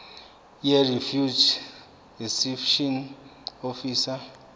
yirefugee reception office